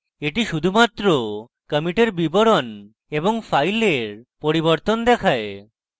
এটি শুধুমাত্র কমিটের বিবরণ এবং file পরিবর্তন দেখায়